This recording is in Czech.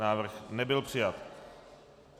Návrh nebyl přijat.